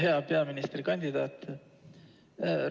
Hea peaministrikandidaat!